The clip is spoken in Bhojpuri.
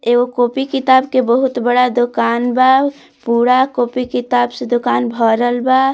एगो कॉपी किताब के बहुत बड़ा दुकान बा पुरा कॉपी किताब से दुकान भरल बा।